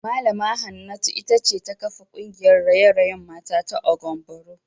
Mallama Hanatu ita ce ta kafa kungiyar raye-rayen mata ta Agwan Boro